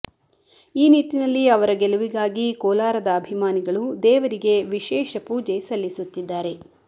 ಈ ನಿಟ್ಟಿನಲ್ಲಿ ಅವರ ಗೆಲುವಿಗಾಗಿ ಕೋಲಾರದ ಅಭಿಮಾನಿಗಳು ದೇವರಿಗೆ ವಿಶೇಷ ಪೂಜೆ ಸಲ್ಲಿಸುತ್ತಿದ್ದಾರೆ